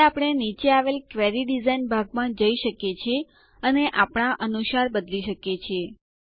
હવે આપણે નીચે આવેલ ક્વેરી ડીઝાઇન ભાગમાં જઈ શકીએ છીએ અને આપણા અનુસાર બદલી શકીએ છીએ